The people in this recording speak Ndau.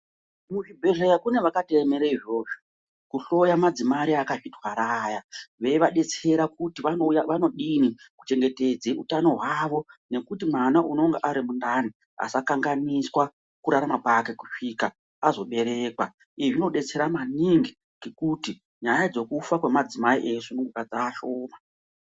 Mu zvibhehlera kune vakato emere izvozvo ku hloya madzimai akazvi twara aya veyi adetsera kuti vanodini ku chengetedze utano hwavo nekuti mwana unonga ari mundani asa kanganiswa kurarama kwake kusvika azo berekwa izvi zvino detsera maningi ngekuti nyaya dzekufa kwe madzimai eyi sununguka dzashoma.